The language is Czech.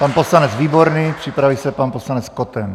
Pan poslanec Výborný, připraví se pan poslanec Koten.